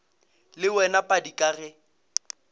le wena padi ka ge